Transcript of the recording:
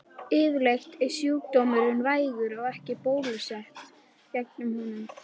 Yfirleitt er sjúkdómurinn vægur og ekki er bólusett gegn honum.